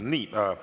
Nii.